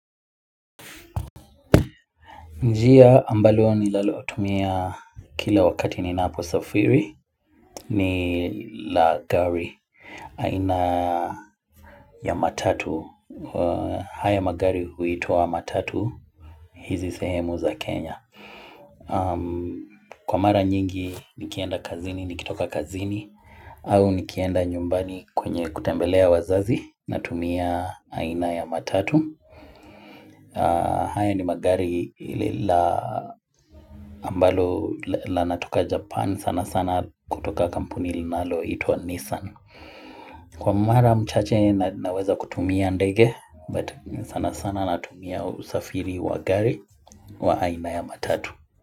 Njia ambalo ninalotumia kila wakati ni napo safiri ni la gari aina ya matatu. Haya magari huitwa matatu hizi sehemu za Kenya. Kwa mara nyingi nikienda kazini nikitoka kazini au nikienda nyumbani kwenye kutembelea wazazi natumia aina ya matatu. Haya ni magari la ambalo la natoka Japan sana sana kutoka kampuni linalo itwa Nissan Kwa mara mchache na naweza kutumia ndege but sana sana natumia usafiri wa gari wa aina ya matatu.